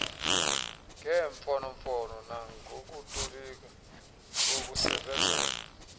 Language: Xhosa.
ngemfonomfono nangokutolika bokusebezela